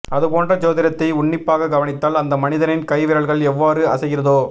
அது போன்ற ஜோதிடத்தை உன்னிப்பாக கவனித்தால் அந்த மனிதனின் கை விரல்கள் எவ்வாறு அசைகிறதோ